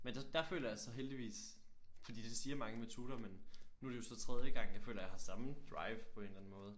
Men der der føler jeg så heldigvis fordi det siger mange med tutor men nu er det jo så tredje gang jeg føler jeg har samme drive på en eller anden måde